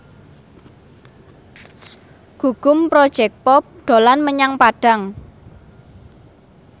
Gugum Project Pop dolan menyang Padang